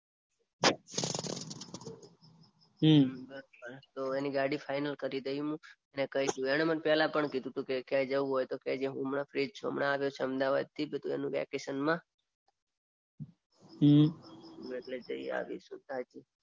એની ગાડી ફાઇનલ કરી દઉં હું એણે મને પહેલા બી કીધું તુ કે ક્યાં જવું હોય તો કેજે હું હમણાં ફ્રી જ છું હમણાં આવ્યો છું અમદાવાદ થી વેકેશનમાં. એટલે જઈ આવિસુ. તો એની ગાડી ફાઇનલ કરી દઉં અને કઈ દઉં.